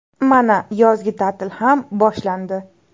Mana, yozgi ta’til ham boshlandi.